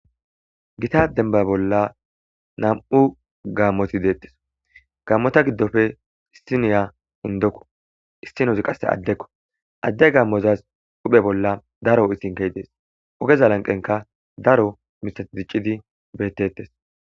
Gita demba bolla nam'u gammotti dettees gammotta giddoppe issiniya indokko issnozi qassi addekko adde gammozas huphphe bolla ogezzi de's ogezza lanqenkka Daro mithatti dicciddi bettettees.